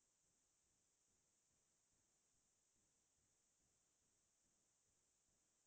তাৰ মাজতে কেতিয়াবা মই নিজে একমান হাতৰ কাম কিছোমান উলাই লৈছিলো